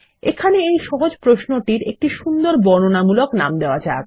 এখানে এই সহজ প্রশ্ন টির একটা সুন্দর বর্ণনামূলক নাম দেওয়া যাক